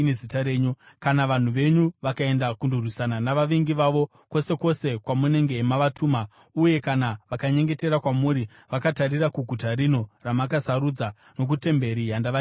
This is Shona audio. “Kana vanhu venyu vakaenda kundorwisana navavengi vavo, kwose kwose kwamunenge mavatuma, uye kana vakanyengetera kwamuri vakatarira kuguta rino ramakasarudza nokutemberi yandavakira Zita renyu,